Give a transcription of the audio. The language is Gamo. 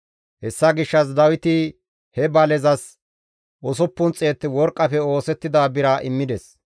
Hessa gishshas Dawiti he balezas 600 worqqafe oosettida bira immides.